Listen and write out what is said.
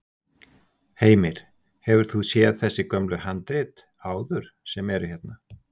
Heimir: Hefur þú séð þessi gömlu handrit áður sem eru hérna?